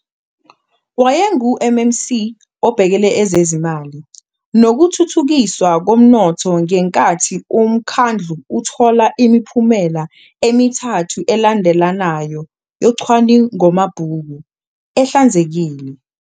WayenguMMC obhekele ezezimali nokuThuthukiswa koMnotho ngenkathi umkhandlu uthola imiphumela emithathu elandelanayo yocwaningomabhuku "ehlanzekile".